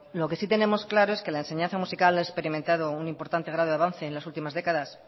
lo que sí tenemos claro es que la enseñanza musical ha experimentado un importante grado de avance en las últimas décadas